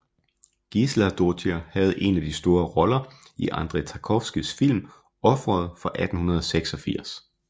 Gísladóttir havde en af de store roller i Andrej Tarkovskijs film Offeret fra 1986